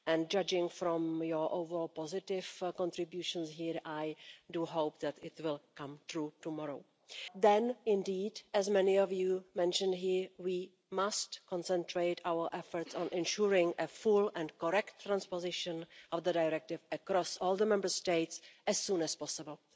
Judging from your overall positive contributions here, I do hope that it will come true tomorrow. Then, indeed, as many of you mentioned here, we must concentrate our efforts on ensuring a full and correct transposition of the directive across all the Member States as soon as possible.